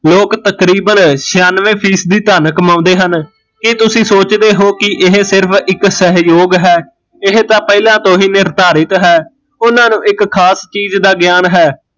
ਲੋਕ ਤਕਰੀਬਨ ਛਿਆਨਵੇ ਫ਼ੀਸਦੀ ਧਨ ਕਮਾਉਂਦੇ ਹਨ ਕੀ ਤੁਸੀਂ ਸੋਚਦੇ ਹੋ ਕਿ ਇਹ ਸਿਰਫ਼ ਇੱਕ ਸਹਿਯੋਗ ਹੈ ਇਹ ਤਾਂ ਪਹਿਲਾਂ ਤੋਂ ਹੀਂ ਨਿਰਧਾਰਿਤ ਹੈ ਉਹਨਾਂ ਨੂੰ ਇੱਕ ਖਾਸ ਚੀਜ਼ ਦਾ ਗਿਆਨ ਹੈ